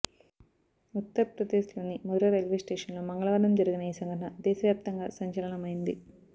ఉత్తర్ప్రదేశ్లోని మథుర రైల్వేస్టేషన్లో మంగళవారం జరిగిన ఈ సంఘటన దేశవ్యాప్తంగా సంచలనమైంది